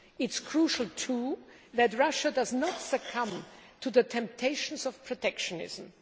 It is crucial, too, that Russia does not succumb to the temptations of protectionism.